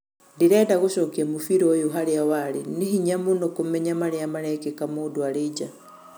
Ndĩrenda gũcokĩa mũbĩra ũyũ harĩa warĩ, nĩ hĩnya mũno kũmenya marĩa marekĩka mũndũ arĩ nja